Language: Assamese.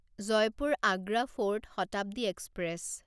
Jaipur Agra fort Shatabdi express